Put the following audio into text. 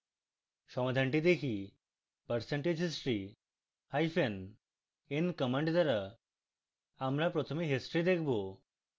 সমাধানটি দেখি